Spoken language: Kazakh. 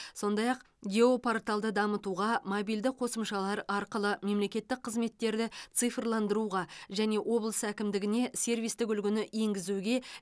сондай ақ геопорталды дамытуға мобильді қосымшалар арқылы мемлекеттік қызметтерді цифрландыруға және облыс әкімдігіне сервистік үлгіні енгізуге